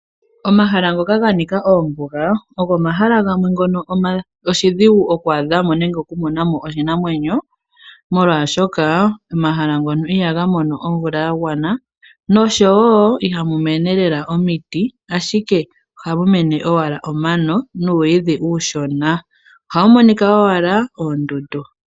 Omahala ngoka ganika oombuga ogo omahala ogo omahala gamwe oshidhigu okwaadhamo nenge okumonamo oshinamwenyo, molwaashoka omahala ngono ihaga mono omvula yagwana noshowoo ihamu mene lela omiti, ashike ohamu mene owala omano nuumwiidhi uushona. Ohamu monika owala oondundu.